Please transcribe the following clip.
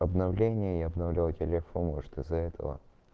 обновление я обновлял телефон может из-за этого